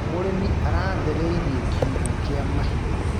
Mũrĩmi aratheririe kiugũ kia mahiũ.